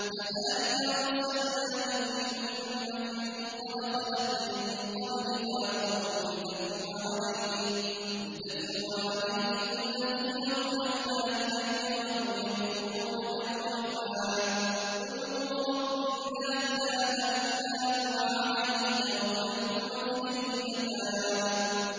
كَذَٰلِكَ أَرْسَلْنَاكَ فِي أُمَّةٍ قَدْ خَلَتْ مِن قَبْلِهَا أُمَمٌ لِّتَتْلُوَ عَلَيْهِمُ الَّذِي أَوْحَيْنَا إِلَيْكَ وَهُمْ يَكْفُرُونَ بِالرَّحْمَٰنِ ۚ قُلْ هُوَ رَبِّي لَا إِلَٰهَ إِلَّا هُوَ عَلَيْهِ تَوَكَّلْتُ وَإِلَيْهِ مَتَابِ